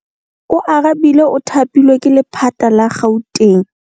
Oarabile o thapilwe ke lephata la Gauteng.